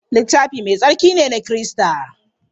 Littafi Mai Tsarki ne na Kirista.